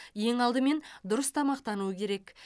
ең алдымен дұрыс тамақтану керек